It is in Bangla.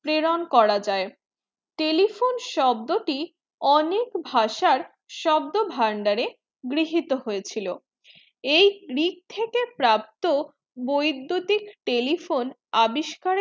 প্রেরণ করা যায় telephone শব্দ টি অনেক ভাষার শব্দ ভাণ্ডারে গৃহীত হয়ে ছিল এই গ্রিক থেকে প্রাপ্ত বৈদুতিক telephone আবিষ্কারের